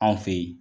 Anw fe ye